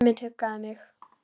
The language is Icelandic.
Og lyfið missti marks.